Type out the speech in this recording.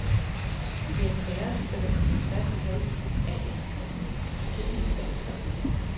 Det er sager, der sætter sig på tværs i halsen af en skikkelig dansker.